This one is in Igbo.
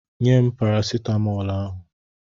Nye m parasitamọl ahụ!